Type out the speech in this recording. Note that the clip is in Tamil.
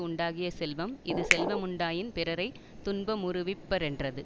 உண்டாகிய செல்வம் இது செல்வமுண்டாயின் பிறரை துன்பமுறுவிப்பரென்றது